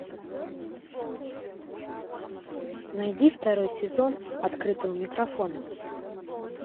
найди второй сезон открытого микрофона